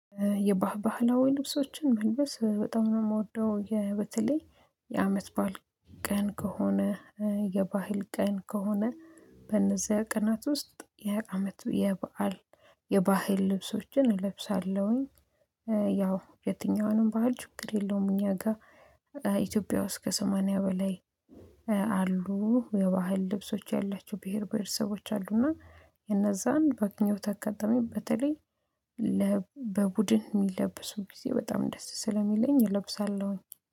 የባህል ባህላዊ ልብሶችን መልበስ በጣም ነው የምወደው በተለይ የአመት በዓል ቀን ከሆነ የባህል ቀን ከሆነ በነዚያ ቀናት ውስጥ የአመቱ የበአል የባህል ልብሶችን እለብሳለሁኝ። ያው የትኛውንም ባህል ችግር የለውም። እኛ ጋር ኢትዮጵያ ውስጥ ከሰማንያ በላይ አሉ የባህል ልብሶች ያላቸው ብሄር ብሄረሰቦች አሉ። እና የነዛን በአገኘውት አጋጣሚ በተለይ በቡድን የሚለብሱ ጊዜ በጣም ደስ ስለሚለኝ እለብሳለሁኝ